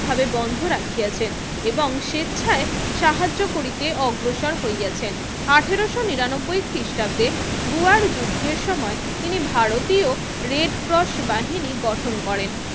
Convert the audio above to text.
ভাবে বন্ধ রাখিয়াছেন এবং স্বেচ্ছায় সাহায্য করিতে অগ্রসর হইয়াছেন আঠারোশো নিরানব্বই খ্রিস্টাব্দে বোয়ার যুদ্ধের সময় তিনি ভারতীয় রেড ক্রস বাহিনী গঠন করেন